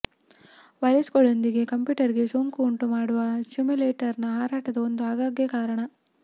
ವೈರಸ್ಗಳೊಂದಿಗೆ ಕಂಪ್ಯೂಟರ್ಗೆ ಸೋಂಕು ಉಂಟುಮಾಡುವ ಸಿಮ್ಯುಲೇಟರ್ನ ಹಾರಾಟದ ಒಂದು ಆಗಾಗ್ಗೆ ಕಾರಣ